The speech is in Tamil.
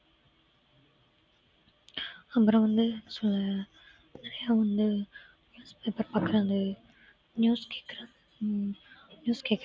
அப்புறம் வந்து ச~ நெறைய வந்து news paper பாக்குறாங்க news news கேக்குறாங்க